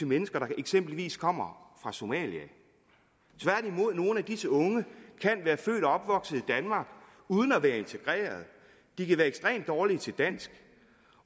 mennesker der eksempelvis kommer fra somalia tværtimod kan nogle af disse unge være født og opvokset i danmark uden at være integreret de kan være ekstremt dårlige til dansk